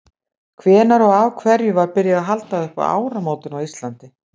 hvenær og af hverju var byrjað að halda upp á áramótin á íslandi